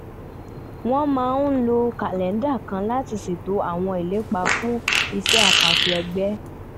wọ́n máa ń lo kàlẹ́ńdà kan láti ṣètò àwọn ìlépa fún iṣẹ́ àkànṣe ẹgbẹ́